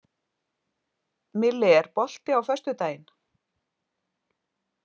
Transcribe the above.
Milli, er bolti á föstudaginn?